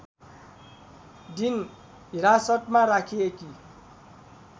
दिन हिरासतमा राखिएकी